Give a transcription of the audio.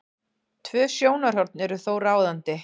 Tvö sjónarhorn eru þó ráðandi.